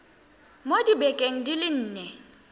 mo dibekeng di le nne